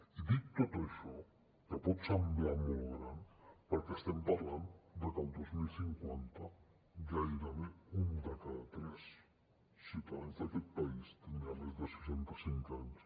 i dic tot això que pot semblar molt gran perquè estem parlant de que el dos mil cinquanta gairebé un de cada tres ciutadans d’aquest país tindrà més de seixanta cinc anys